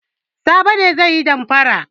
Sabo ne zai yi damfara.